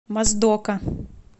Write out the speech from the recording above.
моздока